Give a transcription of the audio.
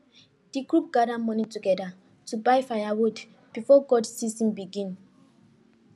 the group gather money together to buy firewood before cold season begin